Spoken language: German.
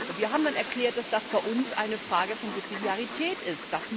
Wir haben dann erklärt, dass das bei uns eine Frage der Subsidiarität ist.